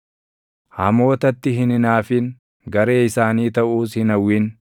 Hamootatti hin hinaafin; garee isaanii taʼuus hin hawwin;